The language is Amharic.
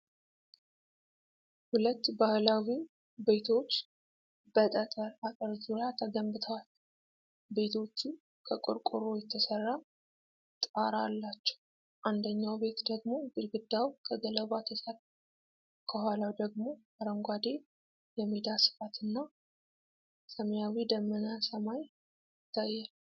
ሁለት ባህላዊ ቤቶች በጠጠር አጥር ዙሪያ ተገንብተዋል። ቤቶቹ ከቆርቆሮ የተሰራ ጣራ አላቸው፤ አንደኛው ቤት ደግሞ ግድግዳው ከገለባ ተሰራ። ከኋላው ደግሞ አረንጓዴ የሜዳ ስፋትና ሰማያዊ ደመናማ ሰማይ ይታያል።